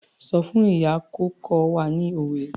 Sọ fún ìyá kó kọ́ wa ní òwe.